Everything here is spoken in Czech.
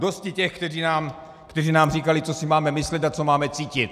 Dosti těch, kteří nám říkali, co si máme myslet a co máme cítit.